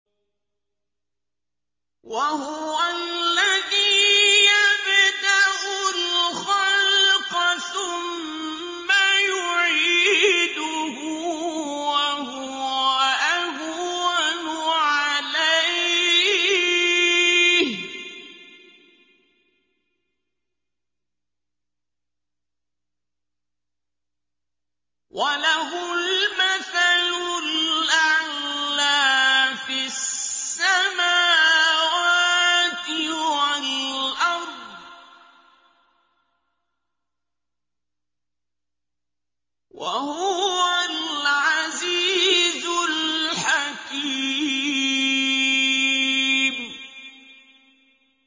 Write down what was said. وَهُوَ الَّذِي يَبْدَأُ الْخَلْقَ ثُمَّ يُعِيدُهُ وَهُوَ أَهْوَنُ عَلَيْهِ ۚ وَلَهُ الْمَثَلُ الْأَعْلَىٰ فِي السَّمَاوَاتِ وَالْأَرْضِ ۚ وَهُوَ الْعَزِيزُ الْحَكِيمُ